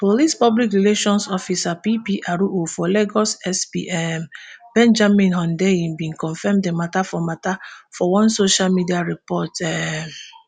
police public relations officer ppro for lagos sp um benjamin hundeyin bin confam di matter for matter for one social media report um